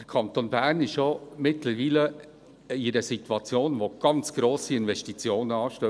Der Kanton Bern ist ja mittlerweile in einer Situation, in der ganz grosse Investitionen anstehen;